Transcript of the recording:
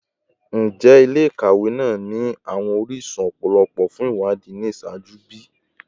Njẹ ile-ikawe naa ni awọn orisun lọpọlọpọ fun iwadii ni iṣaaju bi?